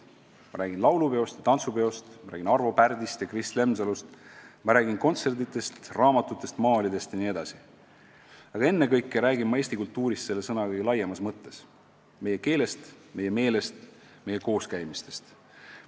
Ma räägin laulupeost ja tantsupeost, ma räägin Arvo Pärdist ja Kris Lemsalust, ma räägin kontsertidest, raamatutest, maalidest jne, aga ennekõike räägin ma Eesti kultuurist selle sõna kõige laiemas mõttes – meie keelest, meie meelest, meie kooskäimistest.